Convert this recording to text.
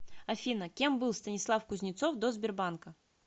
афина кем был станислав кузнецов до сбербанка